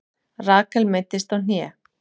Rakel meiddist á hné